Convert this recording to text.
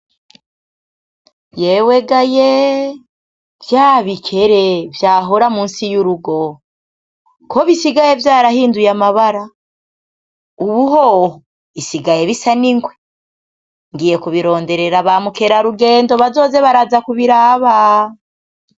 Yewegayeee! Vya bikere vyahora musi y'urugo, ko bisigaye vyarahinduye amabara? Ubu hoho bisigaye bisa n'ingwe, ngiye kubironderera ba mukerarugendo bazoze baraza kubirabaaa!